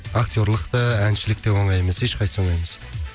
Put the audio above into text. актерлық та әншілік те оңай емес ешқайсысы оңай емес